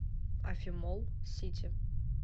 афимолл сити